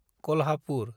Kolhapur